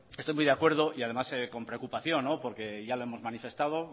estoy muy de acuerdo y además con preocupación porque ya lo hemos manifestado